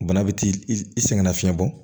Bana bɛ t'i i sɛgɛn nafiyɛn bɔ